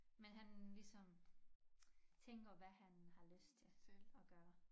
Men han ligesom tænker hvad han har lyst til at gøre